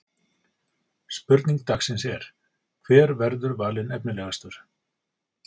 Spurning dagsins er: Hver verður valinn efnilegastur?